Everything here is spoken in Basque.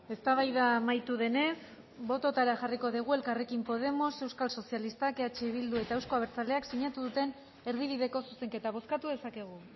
eztabaida amaitu denez bototara jarriko dugu elkarrekin podemos euskal sozialistak eh bildu eta euzko abertzaleak sinatu duten erdibideko zuzenketa bozkatu dezakegu